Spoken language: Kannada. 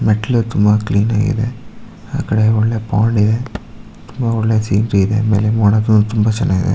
ಮೆಟ್ಲ್ ಅಂತೂ ತುಂಬ ಇದೆ ಆಕಡೆ ಒಳ್ಳೆ ಮೋಡ್ ತುಂಬ ಸೇರ್ತಿವೆ ಇದೆ